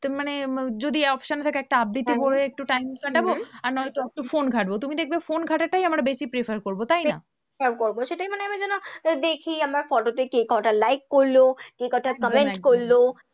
তো মানে যদি option থাকে একটা আবৃত্তি করে একটু thanks পাঠাবো আর নয়তো একটু ফোন ঘাঁটবো, তুমি দেখবে ফোন ঘাঁটাটাই আমরা বেশি prefer করবো তাই না? prefer করবো, সেটাই আমরা যেন দেখি আমরা photo তে কে কটা like করলো? কে কটা comment করলো।